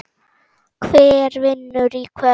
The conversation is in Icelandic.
Hver vinnur í kvöld?